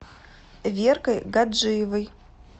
веркой гаджиевой